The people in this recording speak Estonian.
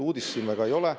Uudist siin väga ei ole.